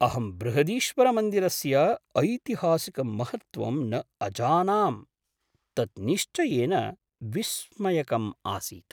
अहं बृहदीश्वरमन्दिरस्य ऐतिहासिकं महत्त्वं न अजानां, तत् निश्चयेन विस्मयकम् आसीत्।